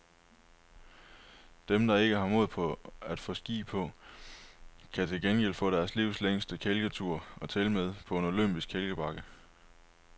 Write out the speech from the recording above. Dem, der ikke har mod på at få ski på, kan til gengæld få deres livs længste kælketur, og tilmed på en olympisk kælkebakke.